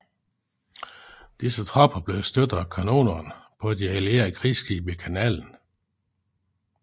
Disse tropper blev støtte af kanonerne på de allierede krigsskibe i kanalen